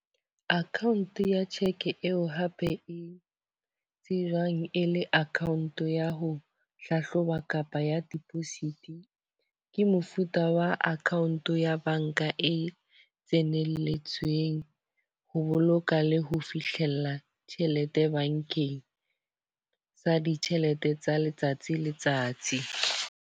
Account ya cheque eo hape e tsejwang e le account ya ho hlahloba kapa ya deposit. Ke mofuta wa account ya ya banka e tsenelletsweng ho boloka le ho fihlella tjhelete bankeng. Sa ditjhelete tsa letsatsi le letsatsi.